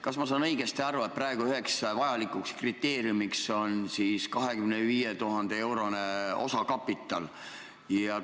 Kas ma saan õigesti aru, et praegu on üheks vajalikuks kriteeriumiks 25 000 euro suurune osakapital?